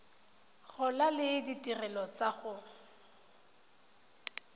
gola le ditirelo tsa go